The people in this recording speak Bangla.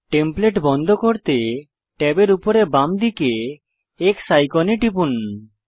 টেমপ্লেট বন্ধ করতে ট্যাবের উপরে বাম দিকে X আইকনে টিপুন